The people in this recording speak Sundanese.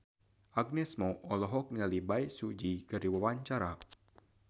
Agnes Mo olohok ningali Bae Su Ji keur diwawancara